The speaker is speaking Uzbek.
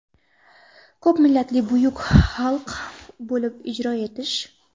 ko‘pmillatli buyuk xalq bo‘lib ijro etish.